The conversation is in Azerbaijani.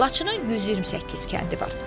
Laçında 128 kəndi var.